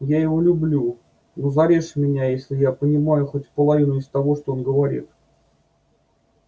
я его люблю но зарежь меня если я понимаю хоть половину из того что он говорит